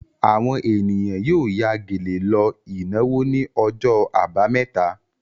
Àwọn ènìyàn yóò ya gèlè lọ ìnáwó ní ọjọ́ àbámẹ́ta.